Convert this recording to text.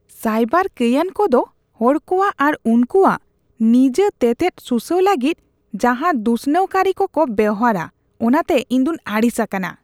Cyber ᱠᱟᱹᱭᱟᱱ ᱠᱚᱫᱚ ᱦᱚᱲ ᱠᱚᱣᱟᱜ ᱟᱨ ᱩᱝᱠᱩᱣᱟᱜ ᱱᱤᱡᱟᱹ ᱛᱮᱛᱮᱫ ᱥᱩᱥᱟᱹᱣ ᱞᱟᱹᱜᱤᱫ ᱡᱟᱦᱟ ᱫᱩᱥᱱᱟᱹᱣ ᱠᱟᱹᱨᱤ ᱠᱚᱠᱚ ᱵᱮᱵᱚᱦᱟᱨᱼᱟ ᱚᱱᱟᱛᱮ ᱤᱧ ᱫᱚᱧ ᱟᱹᱲᱤᱥ ᱟᱠᱟᱱᱟ ᱾